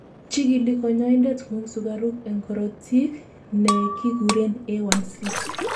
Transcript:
chikili kanyoindet ngung sugaruk en korotikguk nekikuren A1C